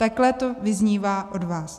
Takhle to vyznívá od vás.